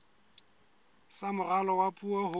sa moralo wa puo ho